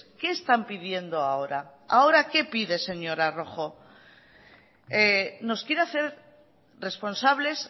qué están pidiendo ahora ahora qué pide señora rojo nos quiere hacer responsables